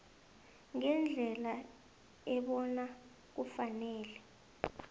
ngendlela ebona kufanele